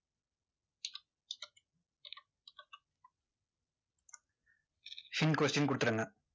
hint question கொடுத்துருங்க.